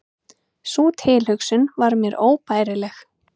Sú tilhugsun var mér óbærileg.